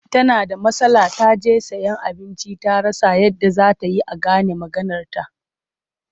Tana da matsala ta je sayen abinci ta rasa yadda za ta yi a gane maganarta.